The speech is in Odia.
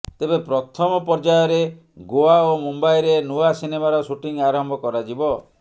ତେବେ ପ୍ରଥମ ପର୍ଯ୍ୟାୟରେ ଗୋଆ ଓ ମୁମ୍ବାଇରେ ନୂଆ ସିନେମାର ସୁଟିଂ ଆରମ୍ଭ କରାଯିବ